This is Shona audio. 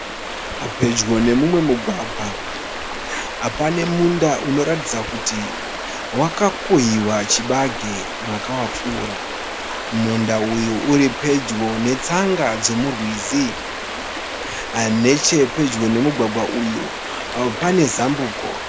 Pedyo nemumwe mugwagwa. Pane munda unoratidza kuti wakakohwewa chibage mwaka wakapfuura. Munda uyu uri pedyo netsanga dzemurwizi. Nechepedyo nemugwagwa uyu pane zambuko